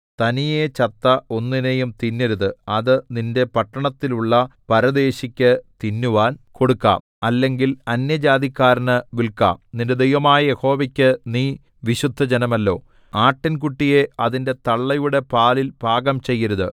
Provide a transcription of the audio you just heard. തനിയെ ചത്ത ഒന്നിനെയും തിന്നരുത് അത് നിന്റെ പട്ടണങ്ങളിലുള്ള പരദേശിക്ക് തിന്നുവാൻ കൊടുക്കാം അല്ലെങ്കിൽ അന്യജാതിക്കാരന് വില്‍ക്കാം നിന്റെ ദൈവമായ യഹോവയ്ക്ക് നീ വിശുദ്ധജനമല്ലോ ആട്ടിൻകുട്ടിയെ അതിന്റെ തള്ളയുടെ പാലിൽ പാകം ചെയ്യരുത്